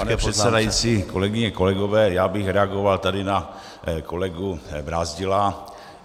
Pane předsedající, kolegyně, kolegové, já bych reagoval tady na kolegu Brázdila.